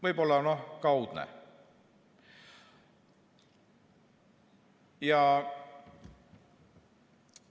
Võib-olla, noh, on kaudne mõju.